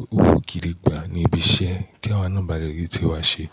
owó gidi gbá ní ibi iṣẹ́, kí awa náà baá lè rí tí wa ṣe.